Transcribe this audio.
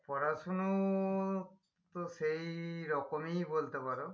পড়াশুনো তো সেই রকমই বলতে পারো